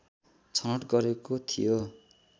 छनोट गरेको थियो